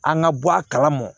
An ka bɔ a kalama